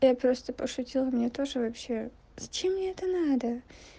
я просто пошутила мне тоже вообще зачем мне это надо